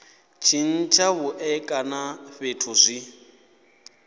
tshintsha vhuṋe kana fhethu zwi